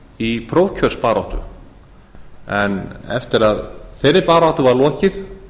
í prófkjörsbaráttu en eftir að þeirri baráttu var lokið